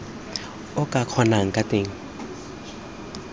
o ka kgonang ka teng